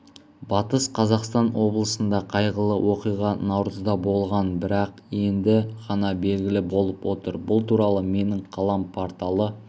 батыс қазақстан облысында қайғылы оқиға наурызда болған бірақ енді ғана белгілі болып отыр бұл туралы менің қалам порталы